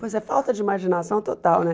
Pois é, falta de imaginação total, né?